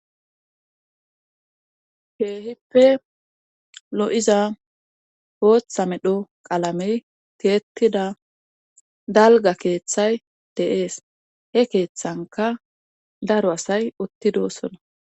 Keehippe lo'iza pooththa medho qalamey tiyettida dalga keeththay de'ees he keeththanka daro asay uttidosona.